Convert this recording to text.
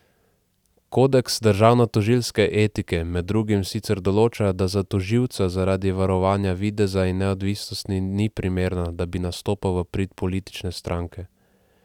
Kodeks državnotožilske etike med drugim sicer določa, da za tožilca zaradi varovanja videza neodvisnosti ni primerno, da bi nastopal v prid politične stranke.